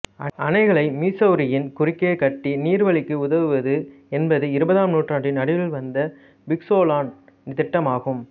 அணைகளை மிசௌரியின் குறுக்கே கட்டி நீர்வழிக்கு உதவுவது என்பது இருபதாம் நூற்றாண்டின் நடுவில் வந்த பிக்சோலன் திட்டம் ஆகும்